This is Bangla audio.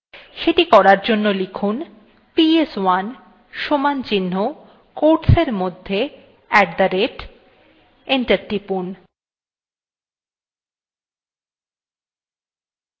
সেটি করার জন্য লিখুন ps1 equalto quotesin মধ্যে at the rate enter টিপুন